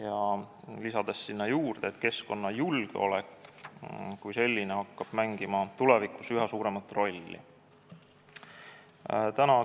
Ta lisas juurde, et keskkonnajulgeolek kui selline hakkab tulevikus üha suuremat rolli mängima.